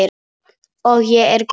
Og ég er góð.